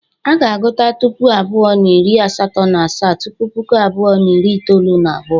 A ga-agụta Puku abụọ na iri asato na asaa tupu Puku abụọ na iri itoolu na abuo.